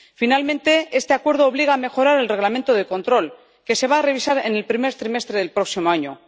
Finalmente, este acuerdo obliga a mejorar el Reglamento de control, que se va a revisar en el primer trimestre del próximo año.